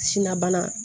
Sina bana